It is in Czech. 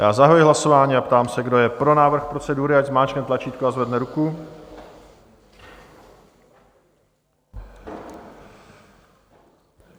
Já zahajuji hlasování a ptám se, kdo je pro návrh procedury, ať zmáčkne tlačítko a zvedne ruku.